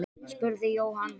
spurði Jóhann.